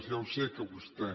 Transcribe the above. ja ho sé que vostè